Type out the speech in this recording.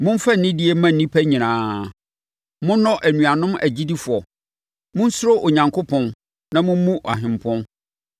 Momfa anidie mma nnipa nyinaa. Monnɔ anuanom agyidifoɔ. Monsuro Onyankopɔn, na mommu Ɔhempɔn.